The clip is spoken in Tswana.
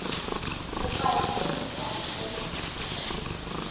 bopaki jo bo tswang go